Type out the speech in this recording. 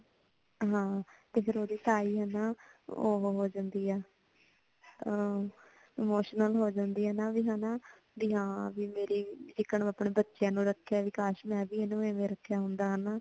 ਹਾਂ ਫੇਰ ਓਹਦੀ ਤਾਈ ਉਹ ਹੋ ਜਾਂਦੀ ਹੈ, ਅਹ emotional ਹੋ ਜਾਂਦੀ ਹੈ ਨਾ ਬੀ ਹੇਨਾ ਬੀ ਹਾਂ ਜੀਕਣ ਆਪਣੇ ਬੱਚਿਆਂ ਨੂੰ ਰੱਖਿਆ ਕਾਸ਼ ਮੈਂ ਏਨੂੰ ਵੀ ਐਵੇਂ ਰੱਖਿਆ ਹੋਂਦਾ ਹੇਨਾ